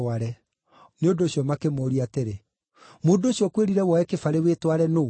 Nĩ ũndũ ũcio makĩmũũria atĩrĩ, “Mũndũ ũcio ũkwĩrire woe kĩbarĩ wĩtware nũũ?”